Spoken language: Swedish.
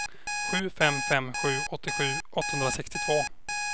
sju fem fem sju åttiosju åttahundrasextiotvå